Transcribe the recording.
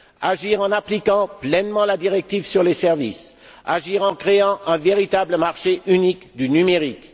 Agir en appliquant pleinement la directive sur les services. Agir en créant un véritable marché unique du numérique.